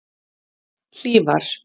Hlífar